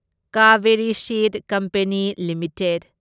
Kaveri Seed Company limited